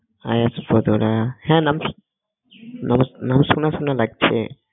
nums~ নাম শোনা শোনা লাগছে